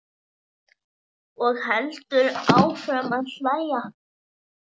Og heldur áfram að hlæja.